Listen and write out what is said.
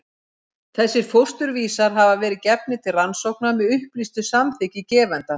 Þessir fósturvísar hafa verið gefnir til rannsókna með upplýstu samþykki gefenda.